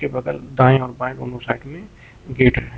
बगल दाएं और बाएं दोनों साइड में गेट हैं।